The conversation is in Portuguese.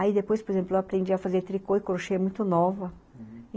Aí depois, por exemplo, eu aprendi a fazer tricô e crochê muito nova.